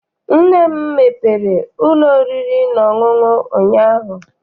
Nne m mepere ụlọ oriri na ọṅụṅụ ụnyaahụ.